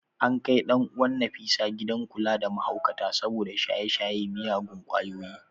An kai ɗan uwan ​​Nafisa gidan kula da mahaukata saboda shaye-shayen miyagun kwayoyi.